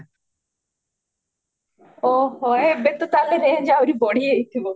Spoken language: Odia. ଓହୋ ଏବେ ତ ତାହେଲେ range ଆହୁରି ବଢିଯାଇଥିବା